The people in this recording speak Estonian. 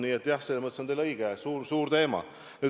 Nii et jah, selles mõttes on teil õigus – suur teema.